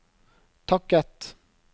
takket